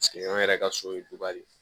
Paseke an yɛrɛ ka so ye dɔgɔ de ye